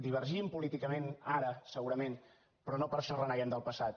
divergim políticament ara segurament però no per això reneguem del passat